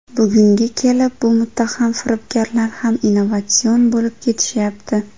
Bugunga kelib bu muttaham firibgarlar ham innovatsion bo‘lib ketishyapti.